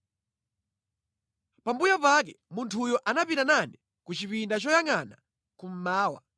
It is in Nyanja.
Pambuyo pake munthuyo anapita nane ku chipinda choyangʼana kummawa,